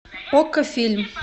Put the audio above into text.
окко фильм